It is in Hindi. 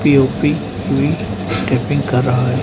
यू_पी भी टाइपिंग कर रहा है।